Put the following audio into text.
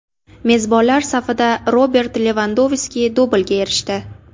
Mezbonlar safida Robert Levandovski dublga erishdi.